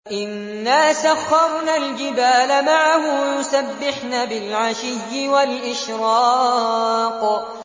إِنَّا سَخَّرْنَا الْجِبَالَ مَعَهُ يُسَبِّحْنَ بِالْعَشِيِّ وَالْإِشْرَاقِ